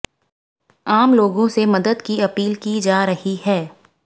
आम लोगों से मदद की अपील की जा रही है